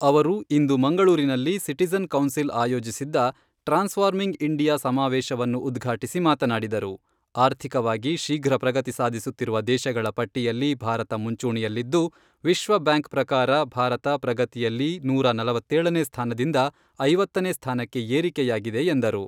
ಅವರು ಇಂದು ಮಂಗಳೂರಿನಲ್ಲಿ ಸಿಟಿಜನ್ ಕೌನ್ಸಿಲ್ ಆಯೋಜಿಸಿದ್ದ ಟ್ರಾನ್ಸ್ಫಾರ್ಮಿಂಗ್ ಇಂಡಿಯಾ ಸಮಾವೇಶವನ್ನು ಉದ್ಘಾಟಿಸಿ ಮಾತನಾಡಿದರು.ಆರ್ಥಿಕವಾಗಿ ಶೀಘ್ರ ಪ್ರಗತಿ ಸಾಧಿಸುತ್ತಿರುವ ದೇಶಗಳ ಪಟ್ಟಿಯಲ್ಲಿ ಭಾರತ ಮುಂಚೂಣಿಯಲ್ಲಿದ್ದು, ವಿಶ್ವ ಬ್ಯಾಂಕ್ ಪ್ರಕಾರ ಭಾರತ ಪ್ರಗತಿಯಲ್ಲಿ ನೂರಾ ನಲವತ್ತೇಳನೇ ಸ್ಥಾನದಿಂದ ಐವತ್ತನೇ ಸ್ಥಾನಕ್ಕೆ ಏರಿಕೆಯಾಗಿದೆ ಎಂದರು.